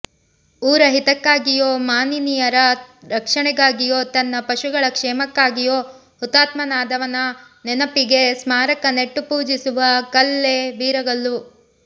ಊರ ಹಿತಕ್ಕಾಗಿಯೋ ಮಾನಿನಿಯರ ರಕ್ಷಣೆಗಾಗಿಯೋ ತನ್ನ ಪಶುಗಳ ಕ್ಷೇಮಕ್ಕಾಗಿಯೋ ಹುತಾತ್ಮನಾದವನ ನೆನೆಪಿಗೆ ಸ್ಮಾರಕ ನೆಟ್ಟು ಪೂಜಿಸುವ ಕಲ್ಲೇ ವೀರಗಲ್ಲು